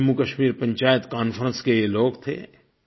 Jammu Kashmir Panchayat conference के ये लोग थे